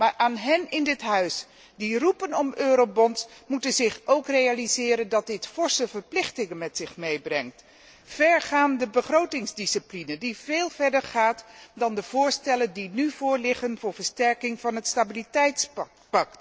Maar zij in dit huis die roepen om eurobonds moeten zich ook realiseren dat dit forse verplichtingen met zich meebrengt en vergaande begrotingsdiscipline die veel verder gaat dan de voorstellen die nu voorliggen ter versterking van het stabiliteitspact.